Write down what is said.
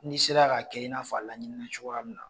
N'i sera ka kɛ i n'a fɔ a laɲinina cogoya min na